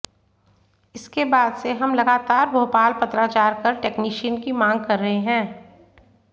इसके बाद से हम लगातार भोपाल पत्राचार कर टेक्नीशियन की मांग कर रहे हैं